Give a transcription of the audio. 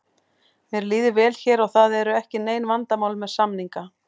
Mér líður vel hér og það eru ekki nein vandamál með samninga.